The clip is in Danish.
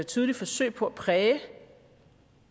tydeligt forsøg på at præge